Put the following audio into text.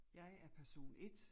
Jeg er person 1